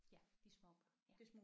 Ja de små børn ja